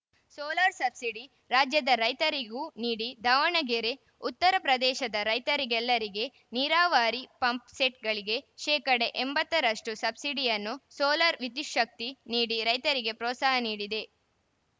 solar subsidy ರಾಜ್ಯದ ರೈತರಿಗೂ ನೀಡಿ ದಾವಣಗೆರೆ ಉತ್ತರ ಪ್ರದೇಶದ ರೈತರೆಲ್ಲರಿಗೆ ನೀರಾವರಿ ಪಂಪ್‌ಸೆಟ್‌ಗಳಿಗೆ ಶೇಕಡಾ ಎಂಬತ್ತು ರಷ್ಟುಸಬ್ಸಿಡಿಯನ್ನು ಸೋಲಾರ್‌ ವಿದ್ಯುತ್ತಿಗೆ ನೀಡಿ ರೈತರಿಗೆ ಪ್ರೋತ್ಸಾಹ ನೀಡಿದೆ